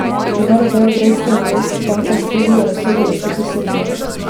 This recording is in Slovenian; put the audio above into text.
V primeru beograjske Investbanke v Tuzli je razsodilo proti Srbiji.